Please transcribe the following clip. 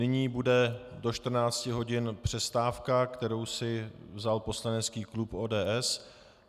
Nyní bude do 14 hodin přestávka, kterou si vzal poslanecký klub ODS.